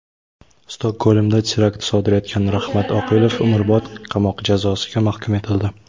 Stokgolmda terakt sodir etgan Rahmat Oqilov umrbod qamoq jazosiga mahkum etildi.